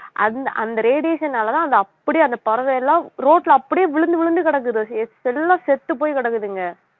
அந்~ அந்த radiation னாலேதான் அந்த அப்படியே அந்த பறவை எல்லாம் ரோட்ல அப்படியே விழுந்து விழுந்து கிடக்குது எல்லாம் செத்துப் போய் கிடக்குதுங்க